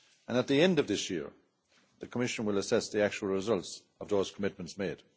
At the end of this year, the Commission will assess the actual results of those commitments made.